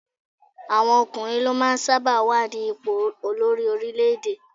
Àwọn ọkùnrin ló máa ń sábà wà ní ipò olórí orílé-èdè